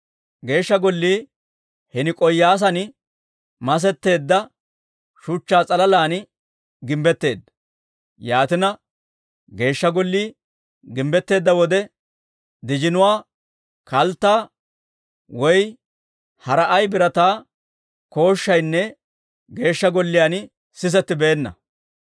Geeshsha Gollii hini k'oo'iyasan masetteedda shuchchaa s'alalan gimbbetteedda; yaatina, Geeshsha Gollii gimbbetteedda wode, dijinuwaa, kalttaa, woy hara ay birataa kooshshaynne Geeshsha Golliyaan sisettibeenna.